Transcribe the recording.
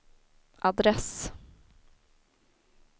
adress